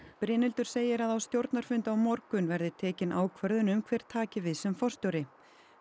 Brynhildur segir að á stjórnarfundi á morgun verði tekin ákvörðun um hver taki við sem forstjóri